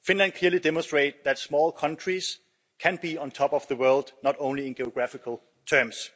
Finland clearly demonstrates that small countries can be on top of the world, not only in geographical terms.